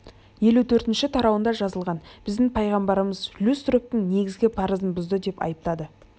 елу төртінші тарауында жазылған біздің пайғамбарымыз люстрогтың негізгі парызын бұзды деп айыптады